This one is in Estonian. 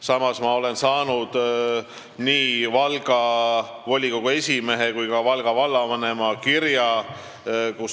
Samas olen ma saanud nii Valga volikogu esimehelt kui ka Valga vallavanemalt kirja.